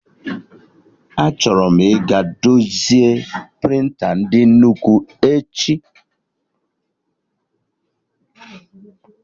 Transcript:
Achọrọ m ịga dozie prịnta ndị nnukwu echi